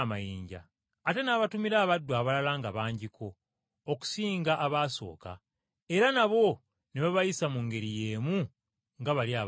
Ate n’abatumira abaddu abalala nga bangiko okusinga abaasooka, era nabo ne babayisa mu ngeri y’emu nga bali abaasooka.